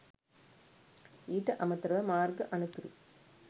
ඊට අමතර ව මාර්ග අනතුරු